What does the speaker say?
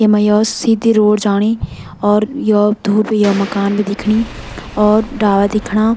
येमा यो सीधी रोड जाणी और यो धुप यो मकान भी दिखणी और डाला दिखणा।